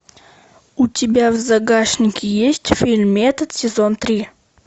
у тебя в загашнике есть фильм метод сезон три